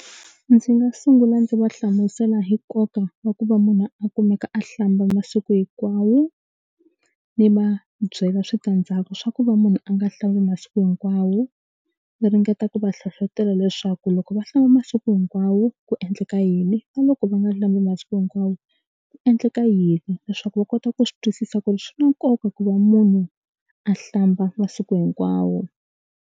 Ndzi nga sungula ndzi va hlamusela hi nkoka wa ku va munhu a kumeka a hlamba masiku hinkwawo ndzi va byela switandzhaku swa ku va munhu a nga hlambi masiku hinkwawo ni ringeta ku va hlohlotelo leswaku loko va hlamba masiku hinkwawo ku endleka yini na loko va nga hlambi masiku hinkwawo ku endleka yini leswaku va kota ku swi twisisa ku ri swi na nkoka ku va munhu a hlamba masiku hinkwawo.